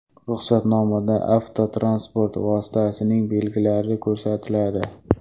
Ruxsatnomada avtotransport vositasining belgilari ko‘rsatiladi.